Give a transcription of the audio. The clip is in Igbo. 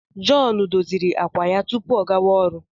John doziri àkwà ya tupu ọ gawa ọrụ.